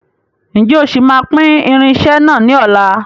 Ǹjẹ́ o sì máa pín irinsẹ́ náà ni ọ̀la?